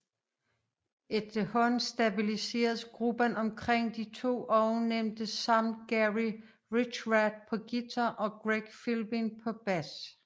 Efterhånden stabiliseredes gruppen omkring de to ovennævnte samt Gary Richrath på guitar og Gregg Philbin på bas